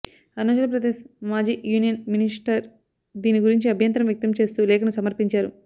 అరుణాచల్ ప్రదేశ్ మాజీ union minister దీని గురించి అభ్యంతరం వ్యక్తం చేస్తూ లేఖను సమర్పించారు